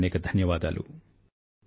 అనేకానేక ధన్యవాదాలు